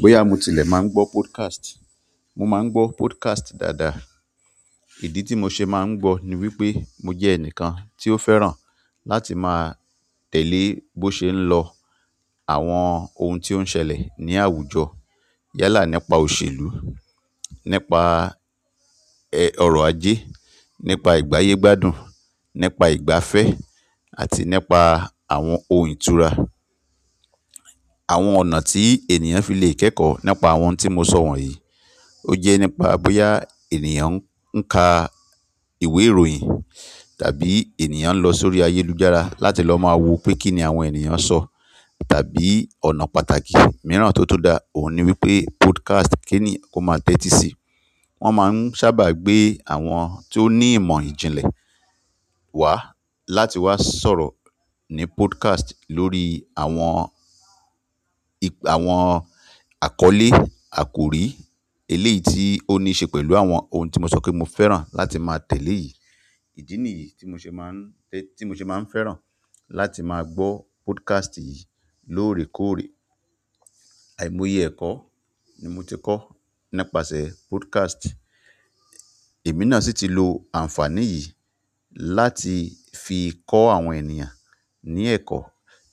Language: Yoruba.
Bóyá mo tilẹ̀ máa ń gbọ́ podcast, mo máa ń gbọ́ podcast dáadáa. Idi ti mo ṣe maa n gbọ ni wípé, mo jẹ ẹnìkan ti o fẹ́ràn láti maa tẹle bo ṣe n lọ àwọn ohun tí ó ń ṣẹlẹ̀ ní àwùjọ. Yálà nípa òṣèlú, nípa, ọ̀rọ̀ ajé, nípa ìgbáyégbádùn, nípa ìgbafẹ́ àti nípa àwọn ohun ìtura. Àwọn ọ̀nà tí ènìyàn fi lè kẹ́kọ̀ọ́ nípa àwọn ohun tí mo sọ wọ̀nyí, ó jẹ́ nípa bóyá ènìyàn ń ka ìwé ìròyìn tàbí ènìyàn ń lọ sórí ayélujára láti lọ máa wo pé kí ni àwọn ènìyàn ń sọ tàbí ọ̀nà pàtàkì mìíràn tó tun dáa. Òun ni wípé podcast kìní ó máa tẹ́tí sí. Won maa n sáábà gbe àwọn to ni ìmọ̀ ìjìnlẹ̀ wa láti wa sọ̀rọ̀ ni podcast lórí àwọn àkọlé, akori eleyi ti o nii ṣe pẹ̀lú àwọn ohun ti mo sọ pe mo fẹ́ràn láti maa tẹle yi. Ìdí nìyí tí mo ṣe máa ń tẹ́, tí mo ṣe máa ń fẹ́ràn láti máa gbọ́ podcast yìí lóòrèkóòrè. Àìmọye ẹ̀kọ́ ni mo ti kọ́ nípasẹ̀ podcast. Èmi náà sì ti lo àǹfàní yìí láti fi kọ́ àwọn ènìyàn ní ẹ̀kọ́.